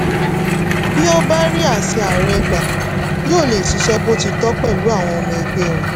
bí ó bá rí àṣẹ ààrẹ gbà yóò lè ṣiṣẹ́ bó ti tọ́ pẹ̀lú àwọn ọmọ ẹgbẹ́ rẹ̀.